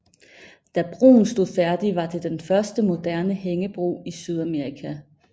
Da broen stod færdig var det den første moderne hængebro i Sydamerika